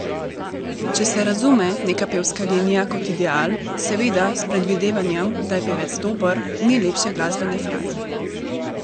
Če se razume neka pevska linija kot ideal, seveda s predvidevanjem, da je pevec dober, ni lepše glasbene fraze!